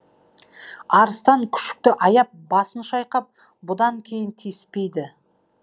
арыстан күшікті аяп басын шайқап бұдан кейін тиіспейді